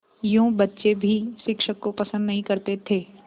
यूँ बच्चे भी शिक्षक को पसंद नहीं करते थे